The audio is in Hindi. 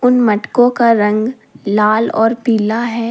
मटको का रंग लाल और पीला है।